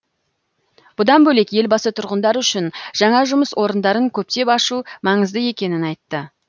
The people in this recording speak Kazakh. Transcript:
бұдан бөлек елбасы тұрғындар үшін жаңа жұмыс орындарын көптеп ашу маңызды екенін айтты